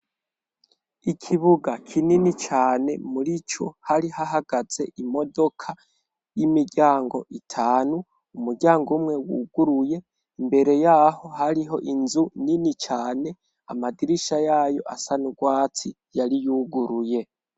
Ikibuga kinini cane muri co hari hahagaze imodoka y'imiryango itanu, umuryango umwe wuguruye imbere yaho hariho inzu nini cane, amadirisha yayo asa n' urwatsi yari yuguruye.